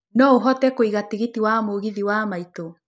no ũhote kuĩga tigiti wa mũgithi wa maitũ